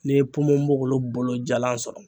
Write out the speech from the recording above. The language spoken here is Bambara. N'i ye ponponpogolon bolo jalan sɔrɔ